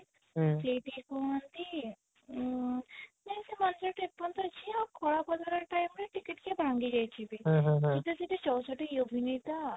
ସେଇଠି କୁହନ୍ତି ଅଁ ସେ ମନ୍ଦିର ଟା ଏପର୍ଯ୍ୟନ୍ତ ଅଛି ଆଉ କଳା ପଥର time ରେ ଟିକେ ଟିକେ ଭାଙ୍ଗି ଯାଇଛି ବି ଆଉ ସେଠି ଚଉଷଠି ୟୋଗୀନି ତ